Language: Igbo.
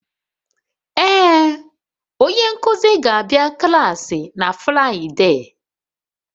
Ee, onye nkuzi ga-abịa klaasị na Fraịde.